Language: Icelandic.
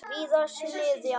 Víðars niðja.